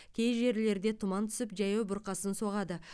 кей жерлерде тұман түсіп жаяу бұрқасын соғады